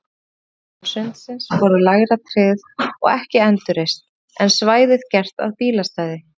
Húsin handan sundsins voru lægra tryggð og ekki endurreist, en svæðið gert að bílastæði.